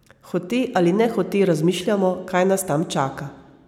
Hote ali nehote razmišljamo, kaj nas tam čaka.